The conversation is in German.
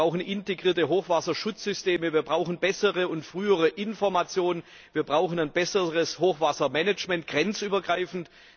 Wir brauchen integrierte Hochwasserschutzsysteme, wir brauchen bessere und frühere Informationen, wir brauchen ein besseres Hochwassermanagement, grenzübergreifend.